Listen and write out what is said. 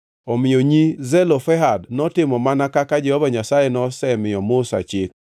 Omiyo nyi Zelofehad notimo mana kaka Jehova Nyasaye nosemiyo Musa chik.